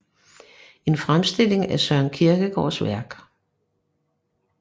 En Fremstilling af Søren Kierkegaards Værk